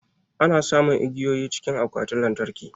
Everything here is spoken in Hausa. Ana samun igiyoyi cikin akwatin lantarki